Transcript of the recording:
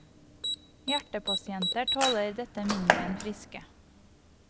Hjertepasienter tåler dette mindre enn friske.